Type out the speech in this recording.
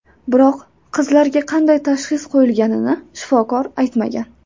Biroq qizlarga qanday tashxis qo‘yilganini shifokor aytmagan.